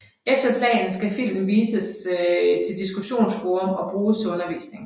Efter planen skal filmen fremover vises til diskussionsforum og bruges til undervisning